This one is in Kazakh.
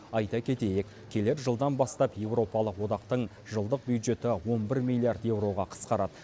айта кетейік келер жылдан бастап еуропалық одақтың жылдық бюджеті он бір миллиард еуроға қысқарады